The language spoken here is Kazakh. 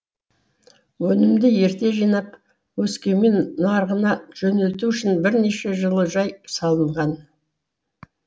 өнімді ерте жинап өскемен нарығына жөнелту үшін бірнеше жылы жай салынған